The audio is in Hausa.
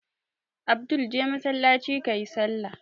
Abdul je masallaci ka yi sallah!